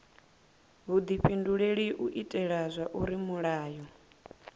vhudifhinduleli u itela zwauri mulayo